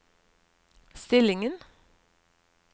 stillingen